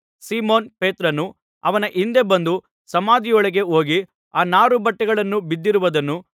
Simon ಪೇತ್ರನು ಅವನ ಹಿಂದೆ ಬಂದು ಸಮಾಧಿಯೊಳಕ್ಕೆ ಹೋಗಿ ಆ ನಾರುಬಟ್ಟೆಗಳು ಬಿದ್ದಿರುವುದನ್ನೂ